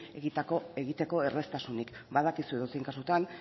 egiteko erraztasunik badakizu edozein kasutan